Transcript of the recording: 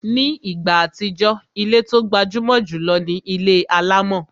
Ní ìgbà àtijọ́, ilé tó gbajúmọ̀ jùlọ ni ilé alámọ̀